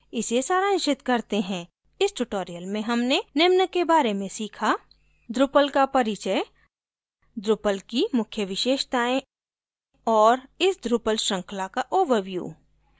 इसे सारांशित करते हैं इस ट्यूटोरियल में हमने निम्न के बारे में सीखा; drupal का परिचय drupal की मुख्य विशेषताएं और इस drupal श्रृंखला का ओवरव्यू